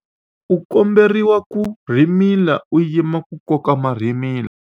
u komberiwa ku rhimila u yima ku koka marhimila